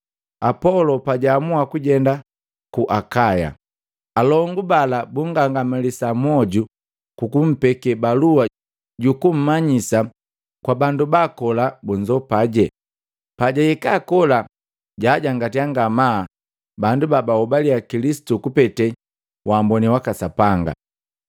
Apolo pajaamua kujenda Akaya, alongu bala bungangamalisa moju kukumpeke balua jukummanyisa kwa bandu baakola bunzopaje. Pajahika kola, jaangatia ngamaa bandu babahobalia Kilisitu kupete waamboni waka Sapanga.